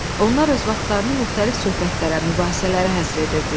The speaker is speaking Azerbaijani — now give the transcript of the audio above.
Onlar öz vaxtlarını müxtəlif söhbətlərə, mübahisələrə həsr edirdilər.